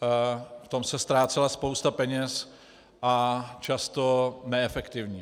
V tom se ztrácela spousta peněz a často neefektivně.